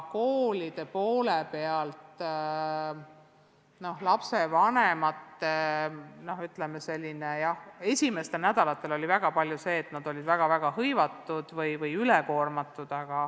Koolide poole pealt oli lapsevanematega seoses esimestel nädalatel väga palju sellist tagasisidet, et nad olid väga-väga hõivatud või üle koormatud.